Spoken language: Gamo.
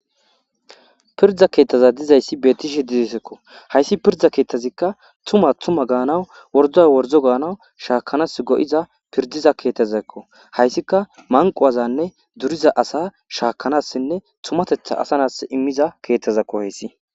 Pirdza keeththaza dizayssi beetishe didesekko hayssi pirda keeththazikka tuma tuma gaanaw wordo wordo gaanawu shaakanas go7iza pirdiza keetazakko hayssika manquwazanne duriza asa shaakanassinne tumatetha asanas immiza keeththazakko hoyssi.